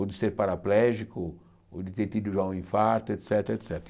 Ou de ser paraplégico, ou de ter tido já um infarto, et cétera, et cétera.